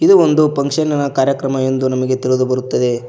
ಇದು ಒಂದು ಫಂಕ್ಷನ್ ನಿನ ಕಾರ್ಯಕ್ರಮ ಎಂದು ನಮಗೆ ತಿಳಿದು ಬರುತ್ತದೆ.